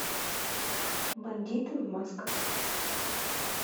бандиты в масках